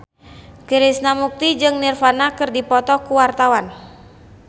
Krishna Mukti jeung Nirvana keur dipoto ku wartawan